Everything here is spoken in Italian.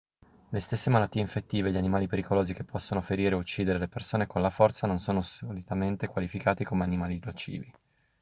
le stesse malattie infettive e gli animali pericolosi che possono ferire o uccidere le persone con la forza non sono solitamente qualificati come animali nocivi